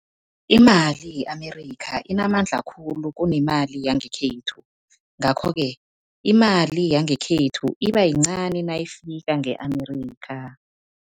Imali ye-Amerika inamandla khulu kunemali yangekhethu, ngakho-ke imali yangekhethu iba yincani nayifika nge-Amerika.